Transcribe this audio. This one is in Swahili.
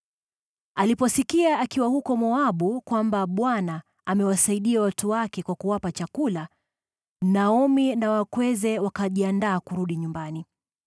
Aliposikia akiwa huko Moabu kwamba Bwana amewasaidia watu wake kwa kuwapa chakula, Naomi na wakweze wakajiandaa kurudi nyumbani.